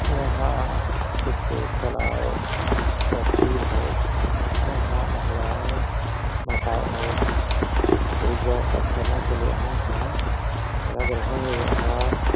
यहां कुछ तालाव का तीर है यहां महिलाएं बताएं लोग पूजा अर्चना के लिए आए हैं लग रहा है यहां --